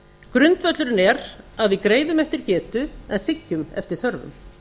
grundvöllurinn er að við greiðum eftir getu en þiggjum eftir þörfum